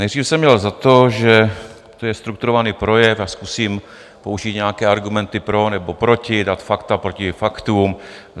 Nejdřív jsem měl za to, že to je strukturovaný projev a zkusím použít nějaké argumenty pro nebo proti, dát fakta proti faktům.